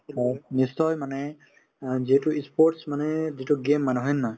হয় নিশ্চয় মানে অ যিহেতু ই sports মানে যিটো game মানে হয় নে নহয়